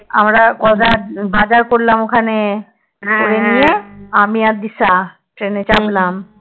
আমরা কত বাজার করলাম ওখানে? করে নিয়ে আমি আর দিশা ট্রেনে চাপলাম